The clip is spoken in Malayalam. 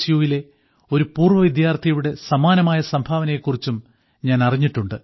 യുവിലെ ഒരു പൂർവ്വ വിദ്യാർത്ഥിയുടെ സമാനമായ സംഭാവനയെക്കുറിച്ചും ഞാൻ അറിഞ്ഞിട്ടുണ്ട്